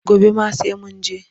Gobe ma sai mu je.